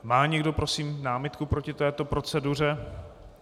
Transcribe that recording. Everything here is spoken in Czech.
Má někdo, prosím, námitku proti této proceduře?